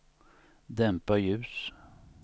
dämpa ljus